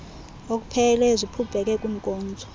okupheleleyo ziphumpeke kwiinkozo